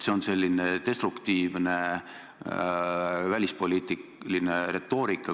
See on selline destruktiivne välispoliitiline retoorika.